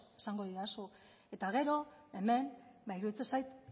eta gero hemen iruditzen zait